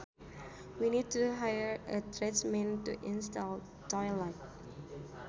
We need to hire a tradesman to install the toilet